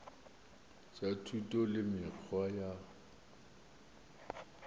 tša thuto le mekgwa ya